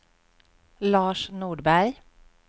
Lars Nordberg